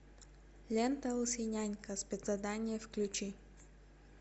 лента лысый нянька спецзадание включи